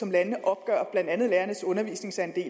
landene opgør blandt andet lærernes undervisningsandel